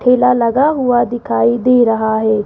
ठेला लगा हुआ दिखाई दे रहा है।